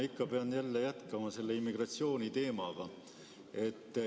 Ma ikka pean jätkama seda immigratsiooniteemat.